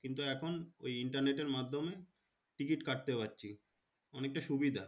কিন্তু এখন internet এর মাধ্যমে ticket কাটতে পারছি অনেকটা সুবিধা